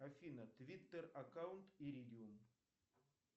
афина твиттер аккаунт иридиум